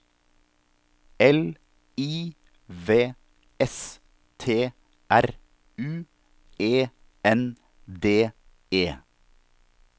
L I V S T R U E N D E